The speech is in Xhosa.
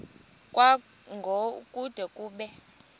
kwango kude kube